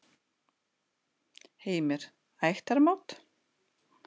Heimir: Ættarmót?